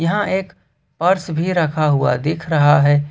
यहां एक पर्स भी रखा हुआ दिख रहा है।